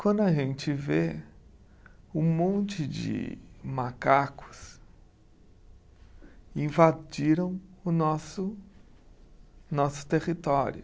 Quando a gente vê um monte de macacos invadiram o nosso nosso território.